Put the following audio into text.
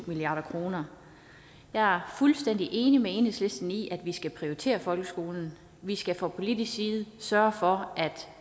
milliard kroner jeg er fuldstændig enig med enhedslisten i at vi skal prioritere folkeskolen vi skal fra politisk side sørge for at